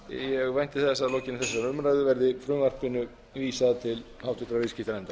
ég vænti þess að að lokinni þessari umræðu verði frumvarpinu vísað til háttvirtrar viðskiptanefndar